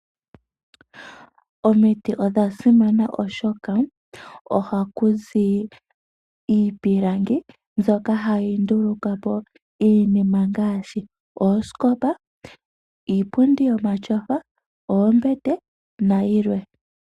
Omiti odha simana, oshoka ohaku zi iipilangi mbyoka hayi nduluka po iinima ngaashi: oosikopa, iipundi yomatyofa, oombete nayilwe.